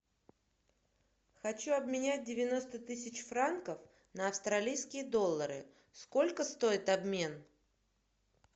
хочу обменять девяносто тысяч франков на австралийские доллары сколько стоит обмен